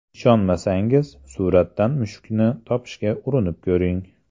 Ishonmasangiz, suratdan mushukni topishga urinib ko‘ring.